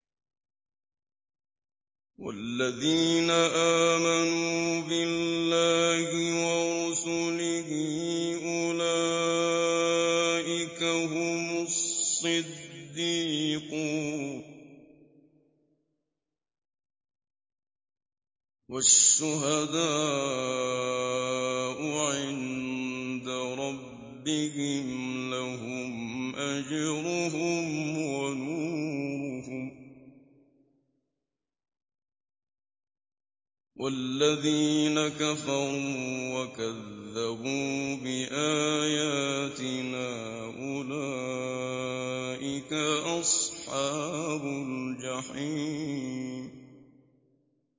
وَالَّذِينَ آمَنُوا بِاللَّهِ وَرُسُلِهِ أُولَٰئِكَ هُمُ الصِّدِّيقُونَ ۖ وَالشُّهَدَاءُ عِندَ رَبِّهِمْ لَهُمْ أَجْرُهُمْ وَنُورُهُمْ ۖ وَالَّذِينَ كَفَرُوا وَكَذَّبُوا بِآيَاتِنَا أُولَٰئِكَ أَصْحَابُ الْجَحِيمِ